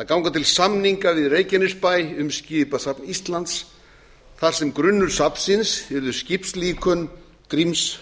að ganga til samninga við reykjanesbæ um skipasafn íslands þar sem grunnur safnsins yrðu skipalíkön gríms